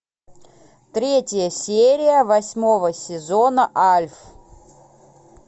третья серия восьмого сезона альф